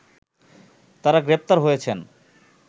তারা গ্রেপ্তার হয়েছেন